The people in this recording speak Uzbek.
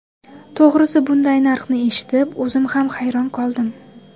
To‘g‘risi, bunday narxni eshitib, o‘zim ham hayron qoldim.